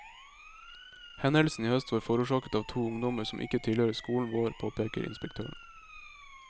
Hendelsen i høst var forårsaket av to ungdommer som ikke tilhører skolen vår, påpeker inspektøren.